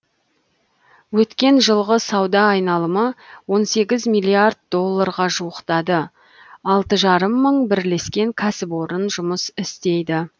өткен жылғы сауда айналымы он сегіз миллиард долларға жуықтады алты жарым мың бірлескен кәсіпорын жұмыс істейді